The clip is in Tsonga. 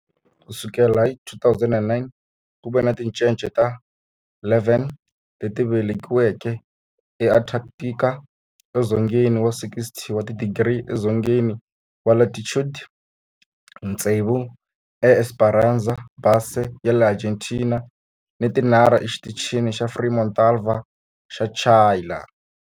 Ku sukela hi 2009, ku ve ni tincece ta 11 leti velekiweke eAntarctica, edzongeni wa 60 wa tidigri edzongeni wa latitude, tsevu eEsperanza Base ya le Argentina ni tinharhu eXitichini xa Frei Montalva xa le Chile.